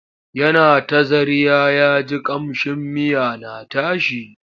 Yana ta zarya ya ji ƙamshin miya na tashi.